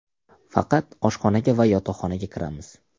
Faqat oshxonaga va yotoqxonaga kiramiz.